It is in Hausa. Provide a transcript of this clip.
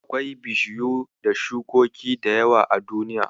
Akwai bishiyu da shukoki da yawa a duniya.